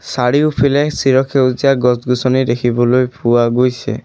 চাৰিওফিলে চিৰসেউজীয়া গছ গছনি দেখিবলৈ পোৱা গৈছে।